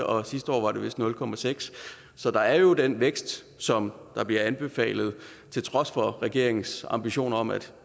og sidste år var det vist nul procent så der er jo den vækst som bliver anbefalet til trods for regeringens ambitioner om at